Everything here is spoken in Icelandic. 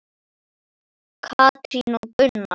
Katrín og Gunnar.